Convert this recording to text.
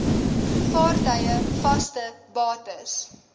vaartuie vaste bates